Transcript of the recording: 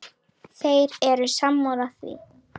Þeir eru sammála því.